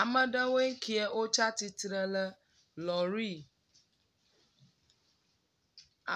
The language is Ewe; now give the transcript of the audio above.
Ame aɖewoe nye ŋkee tsi atsitre le lɔri